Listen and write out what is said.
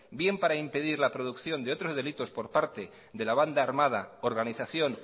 bien para impedir la producción de otros delitos por parte de la banda armada organización